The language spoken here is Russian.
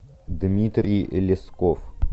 дмитрий лесков